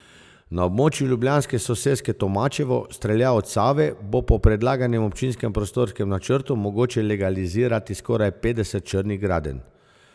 Na območju ljubljanske soseske Tomačevo, streljaj od Save, bo po predlaganem občinskem prostorskem načrtu mogoče legalizirati skoraj petdeset črnih gradenj.